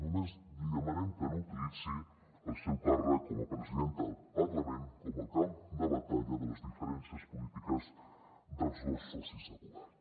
només li demanem que no utilitzi el seu càrrec com a presidenta del parlament com a camp de batalla de les diferències polítiques dels dos socis de govern